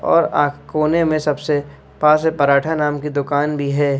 और आ कोने में सबसे प से पराठा नाम की दुकान भी है।